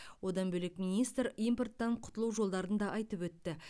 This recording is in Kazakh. одан бөлек министр импорттан құтылу жолдарын да айтып өтті